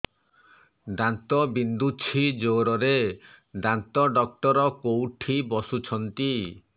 ଦାନ୍ତ ବିନ୍ଧୁଛି ଜୋରରେ ଦାନ୍ତ ଡକ୍ଟର କୋଉଠି ବସୁଛନ୍ତି